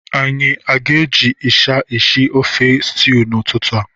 Anyị aga eji ịsha eshi ofe stew n'ụtụtụ a?